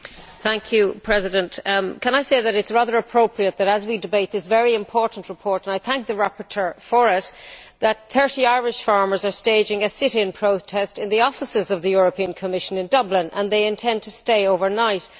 Mr President, can I say that it is rather appropriate that as we debate this very important report, and I thank the rapporteur for it, 30 Irish farmers are staging a sit in protest in the offices of the European Commission in Dublin and they intend to stay overnight.